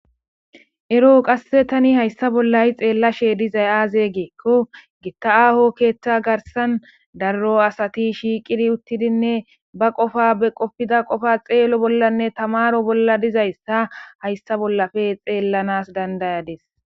Ero qasse tani hayssa bollayi xeella shee dizay aazeegeekko gitta7aho keeththa garsan darro asati shiiqidi uttidinne ba qofa be qofida qofa xeello bollanne tamaro bolla dizayssa hayssa bollafe xeellanas dandayades